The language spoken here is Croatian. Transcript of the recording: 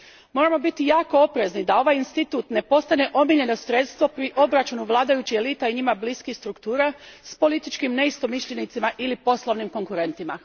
Moramo biti jako oprezni da ovaj institut ne postane omiljeno sredstvo pri obračunu vladajućih elita i njima bliskih struktura s političkim neistomišljenicima ili poslovnim konkurentima.